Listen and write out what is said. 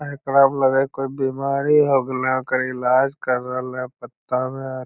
आ एकरा प लगे हय कोय बिमारी हो गलए हय ओकर इलाज कर रहल हय पत्ता में।